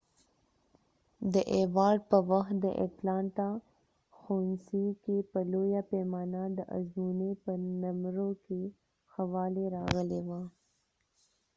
د ایوارډ په وخت د اټلانټا ښوونڅی کې په لويه پیمانه د ازموينی په نمرو کې ښه والی راغلی وه